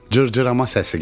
Cırcırama səsi gəldi.